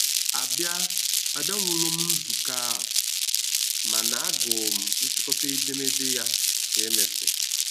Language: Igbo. A bịa A bịa nwụrọm nzukọ ahụ, ma na agụụ m nchịkọta edemede ya ka emesịrị